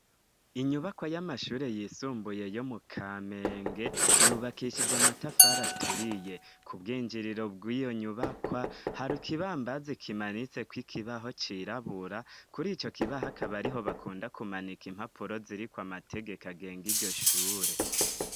Inyubakwa y'amashure yisumbuye yo mu Kamenge yubakishije amatafari aturiye ku bwinjiriro bw'iyo nyubakwa hari kibambazi kimanitse ku ikibaho cirabura kuri ico kibaha kaba ariho bakunda kumanika impapuro ziri kw amategeka genge iryoshure.